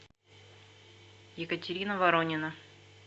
екатерина воронина